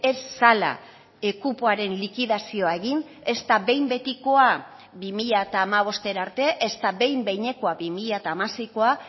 ez zela kupoaren likidazioa egin ezta behin betikoa bi mila hamabostera arte ezta behin behinekoa bi mila hamaseikoa